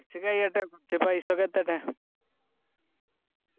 കുറച്ച് കയ്യട്ടെ കുറച്ച് പൈസ ഒക്കെ എത്തട്ടെ